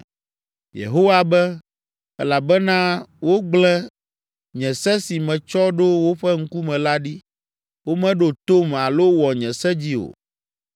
Yehowa be, “Elabena wogblẽ nye se si metsɔ ɖo woƒe ŋkume la ɖi. Womeɖo tom alo wɔ nye se dzi o.